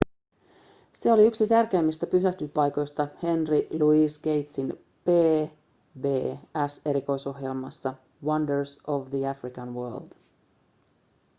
se oli yksi tärkeimmistä pysähdyspaikoista henry louis gatesin pbs-erikoisohjelmassa wonders of the african world